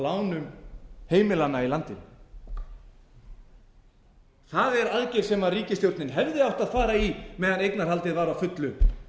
lánum heimilanna í landinu það er aðgerð sem ríkisstjórnin hefði átt að fara í meðan eignarhaldið var að fullu